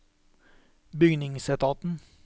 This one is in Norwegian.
bygningsetaten